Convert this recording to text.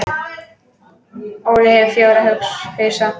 Óli hefur fjóra hausa.